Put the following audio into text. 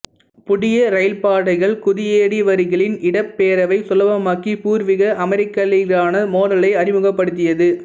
புதிய ரயில்பாதைகள் குடியேறியவர்களின் இடப்பெயர்வை சுலபமாக்கி பூர்வீக அமெரிக்கர்களுடனான மோதலை அதிகப்படுத்தியது